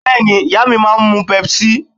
Bẹ́ẹ̀ni, ìyá mi máa ń mu Pepsi